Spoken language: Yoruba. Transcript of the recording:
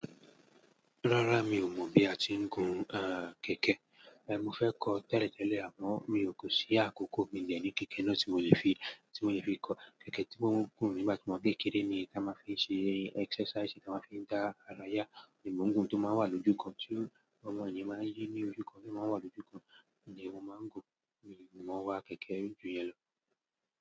Rárá mi ò mọ bí a ti ń gun, ah, kẹ̀kẹ́. Eh, mo fẹ́ kọ tẹ́lẹ̀tẹ́lẹ̀ àmọ́ mi ò kó sí àkókò bí ìjẹ́ ní kẹ̀kẹ́ náà tí mo lè fi, tí mo lè fi kọ. Kẹ̀kẹ́ tí wón ń gùn nígbà tí wón bá ń kéré ni tí a máa ń fi ṣe exercise, tí a máa ń fi dá ara ya. Òùn tó máa ń wà lójúkan tí ọmọ yii máa ń yí ní ojú kan o máa wà lójúkan. Mo máa ń gun, mi, mo wa kẹ̀kẹ́ ju yẹn lọ.